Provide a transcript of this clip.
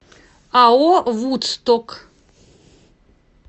ао вудсток